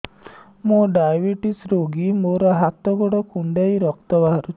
ମୁ ଡାଏବେଟିସ ରୋଗୀ ମୋର ହାତ ଗୋଡ଼ କୁଣ୍ଡାଇ ରକ୍ତ ବାହାରୁଚି